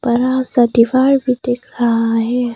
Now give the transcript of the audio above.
बड़ा सा दीवार भी दिख रहा है।